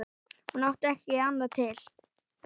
Hún átti ekki annað til.